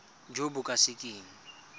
jo bo ka se keng